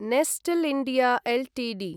Nestlé India Ltd